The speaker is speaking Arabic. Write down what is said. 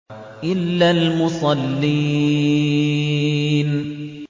إِلَّا الْمُصَلِّينَ